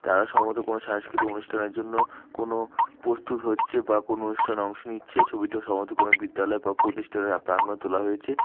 তারা সম্ভবত কোনো সাংস্কৃতিক অনুষ্ঠানের জন্য কোনো পস্তুত হচ্ছে বা কোনো অনুষ্ঠানে অংশ নিচ্ছে ছবিটা সম্ভবত কোনো বিদ্যালয় বা পতিষ্ঠানের আ প্রাঙ্গণে তোলা হয়েছে।